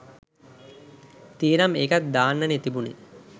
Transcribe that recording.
තියේනම් ඒකත් දාන්නනේ තිබුණේ